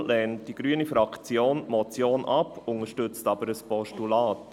Darum lehnt die grüne Fraktion die Motion ab, unterstützt aber ein Postulat.